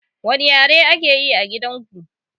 Wani ƴare ake ƴi a gidan ku?